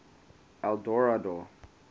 eldorado